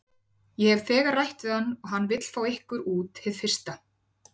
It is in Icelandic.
Ég hef þegar rætt við hann og hann vill fá ykkur út hið fyrsta.